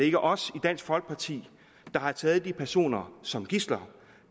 ikke os i dansk folkeparti der har taget de personer som gidsler